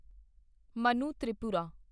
Manu Tripura